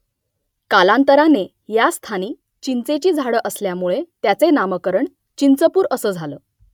कालांतराने या स्थानी चिंचेची झाडं असल्यामुळे त्याचे नामकरण चिंचपूर असं झालं